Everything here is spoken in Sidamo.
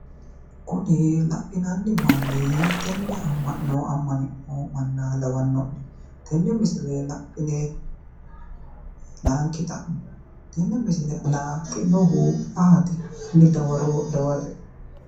kuni lainanni manni hiittenne ama'no ama'ninoha lawanno'ne tenne misile laine layiinki xammo tenne misile anaa naaxxinohu ayeeti?